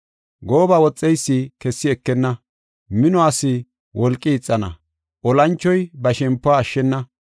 Gooba woxeysi kessi ekenna; minuwas wolqi ixana; olanchoy ba shempuwa ashshena.